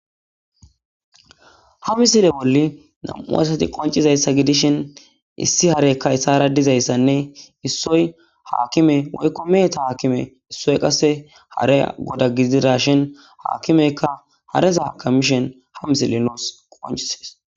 Ha misile bola namu asati qonicizayisa gidishini issi harey issitara dizayisanne issoy hakimme woyikko meheta akime issoy qase harey godda gididashin akimeyikka hareza akamishin ha misileyi nus qonicises